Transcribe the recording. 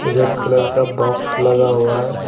Colour का box लगा हुआ है।